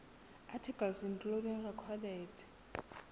articles including recorded